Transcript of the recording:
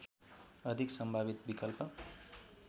अधिक सम्भावित विकल्प